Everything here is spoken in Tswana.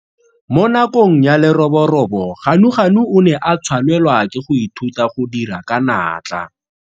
Mo nakong ya leroborobo Ganuganu o ne a tshwanela ke go ithuta go dira ka natla.